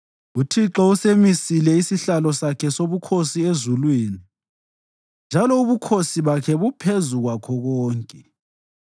UThixo usemisile isihlalo sakhe sobukhosi ezulwini, njalo ubukhosi bakhe buphezu kwakho konke.